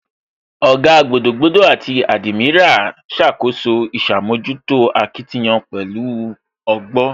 Ògá, gbogboogbo àti admiral ṣàkóso ìṣàmójútó akitiyan pẹ̀lú ọgbọ́